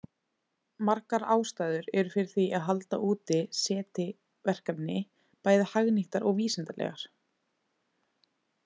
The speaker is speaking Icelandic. Margar ástæður eru fyrir því að halda úti SETI-verkefni, bæði hagnýtar og vísindalegar.